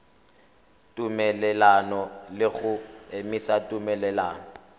tumelelano le go emisa tumelelano